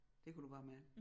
Det kunne du bare mærke